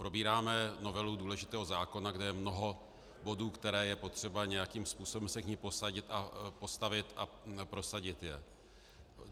Probíráme novelu důležitého zákona, kde je mnoho bodů, které je potřeba nějakým způsobem se k nim postavit a prosadit je.